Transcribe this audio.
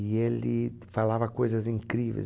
E ele falava coisas incríveis.